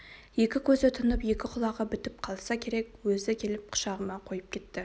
екі көзі тұнып екі құлағы бітіп қалса керек өзі келіп құшағыма қойып кетті